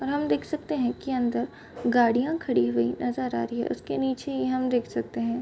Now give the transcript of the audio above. हम देख सकते है की अंदर गाड़ियां खड़ी हुई नजर आ रही है उसके निचे ही हम देख सकते है।